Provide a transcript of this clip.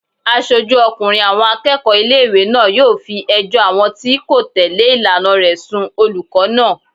Aṣojú ọkùnrin àwọn akẹ́kọ̀ọ́ ilé-ìwé náà yóò fi ẹjọ́ àwọn tí kò tẹ̀lé ìlànà rẹ̀ sùn olùkọ́ náà